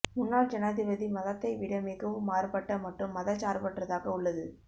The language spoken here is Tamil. முன்னாள் ஜனாதிபதி மதத்தை விட மிகவும் மாறுபட்ட மற்றும் மதச்சார்பற்றதாக உள்ளது